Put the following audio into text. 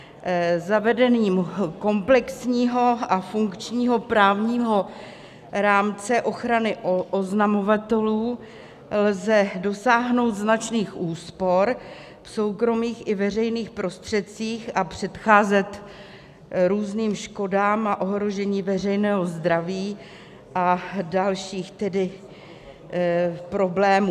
Zavedením komplexního a funkčního právního rámce ochrany oznamovatelů lze dosáhnout značných úspor v soukromých i veřejných prostředcích a předcházet různým škodám a ohrožení veřejného zdraví a dalším problémům.